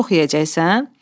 Çox yeyəcəksən?